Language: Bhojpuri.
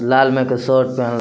लाल म के शर्ट पहन --